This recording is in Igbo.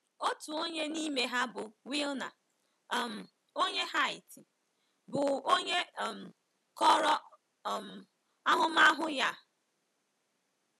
Otu onye n’ime ha bụ Wilner um onye Haiti, bụ́ onye um kọrọ um ahụmahụ ya a.